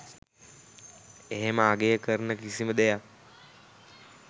එහෙම අගය කරන කිසිම දෙයක්